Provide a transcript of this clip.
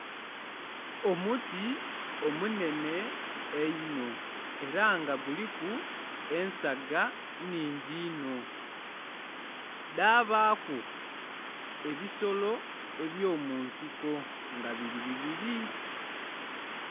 Omuti omunhenhe einho era nga guliku ensaga nnhingi inho dhabaku ebisolo ebyomunsiko nga biri bibiri.